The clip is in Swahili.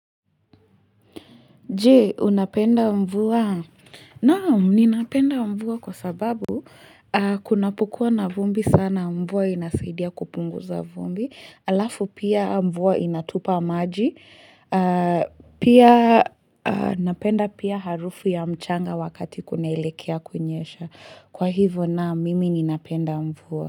Je, unapenda mvua? Naam ninapenda mvua kwa sababu kunapokua na vumbi sana mvua inasaidia kupunguza vumbi, alafu pia mvua inatupa maji, pia napenda pia harufu ya mchanga wakati kunaelekea kunyesha. Kwa hivo naam mimi ninapenda mvua.